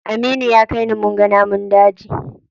Aminu ya kai ni munga namun daji.